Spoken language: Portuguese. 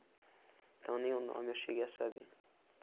Então nem o nome eu cheguei a saber.